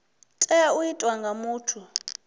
tea u itwa nga muthu